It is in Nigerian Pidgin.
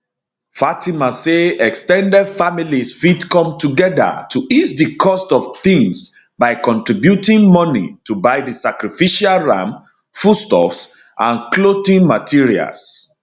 fatima say ex ten ded families fit come togeda to ease di cost of tings by contributing moni to buy di sacrificial ram foodstuffs and clothing materials